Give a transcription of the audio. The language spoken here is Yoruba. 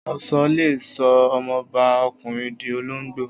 Oṣó le sọ ọmọbá ọkùnrin di olóngbò.